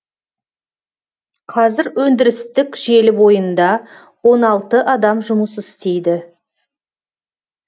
қазір өндірістік желі бойында он алты адам жұмыс істейді